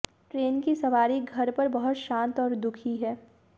वह ट्रेन की सवारी घर पर बहुत शांत और दुखी है